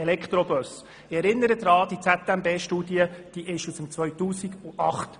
Ich erinnere daran, dass die ZMB-Studie aus dem Jahr 2008 stammt.